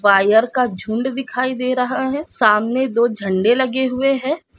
Wire का झुंड दिखाई दे रहा है सामने दो झंडे लगे हुए हैं।